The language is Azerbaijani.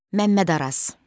Məmməd Araz.